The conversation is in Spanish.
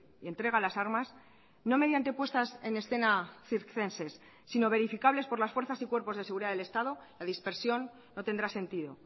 y entrega las armas no mediante puestas en escena circenses sino verificables por las fuerzas y cuerpos de seguridad del estado la dispersión no tendrá sentido